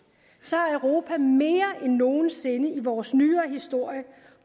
har europa mere end nogen sinde i vores nyere historie